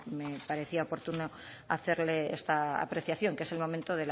me parecía oportuno hacerle esta apreciación que es el momento